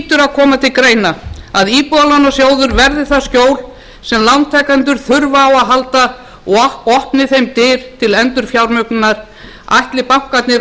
koma til greina að íbúðalánasjóður verði það skjól sem lántakendur þurfa á að halda og opni þeim dyr til endurfjármögnunar ætli bankarnir